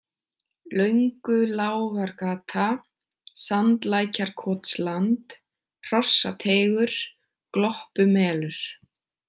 Löngulágargata, Sandlækjarkotsland, Hrossateigur, Gloppumelur